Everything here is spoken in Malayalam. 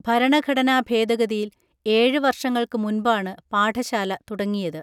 ഭരണഘടനാ ഭേദഗതിയിൽ ഏഴ് വർഷങ്ങൾക്ക് മുൻപാണ് പാഠശാല തുടങ്ങിയത്